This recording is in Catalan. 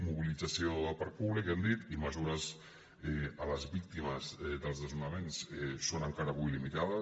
mobilització del parc públic hem dit i mesures a les víctimes dels desnonaments són encara avui limitades